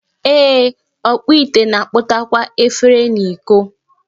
Ee, ọkpụ ite na-akpụtakwa efere na iko